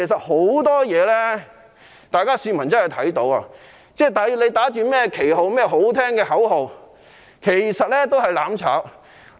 很多事情大家也是看到的，他們打着甚麼旗號、喊着漂亮的口號，其實只是"攬炒"。